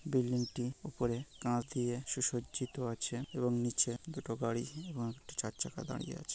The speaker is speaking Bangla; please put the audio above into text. বিল্ডিংটি উপরে কাঁচ দিয়া সুসজ্জিত আছে এবং নিচে দুটি গাড়ি একটি চরচাকা দাড়িয়ে আছে।